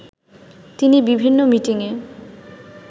তিনি বিভিন্ন মিটিংয়ে